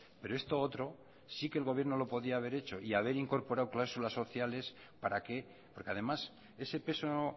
pero esto otro sí que el gobierno lo podía haber hecho y haber incorporado cláusulas sociales para que porque además ese peso